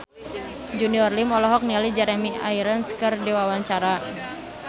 Junior Liem olohok ningali Jeremy Irons keur diwawancara